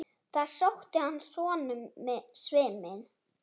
Það sótti að honum svimi.